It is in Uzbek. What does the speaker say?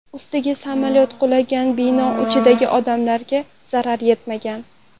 Ustiga samolyot qulagan bino ichidagi odamlarga zarar yetmagan.